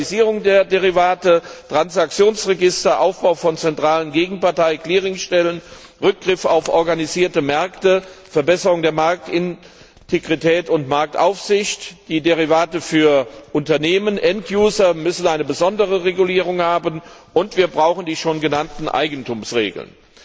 Die Standardisierung der Derivate, Transaktionsregister, Aufbau von zentralen Gegenpartei Clearingstellen, Rückgriff auf organisierte Märkte, Verbesserung der Marktintegrität und Marktaufsicht, die Derivate für Unternehmen, Endnutzer müssen eine besondere Regulierung haben, und wir brauchen die schon genannten Eigentumsregeln.